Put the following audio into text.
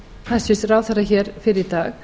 hæstvirts ráðherra hér fyrr í dag